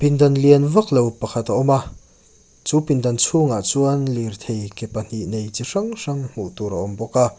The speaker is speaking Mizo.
dan lian vak lo pakhat a awm a chu pindan chhungah chuan lirthei ke pahnih nei chi hrang hrang hmuh tur a awm bawk a.